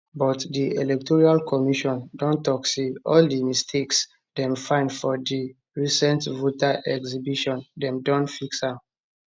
but di electoral commission don tok say all di mistakes dem find for di recent voter exhibition dem don fix am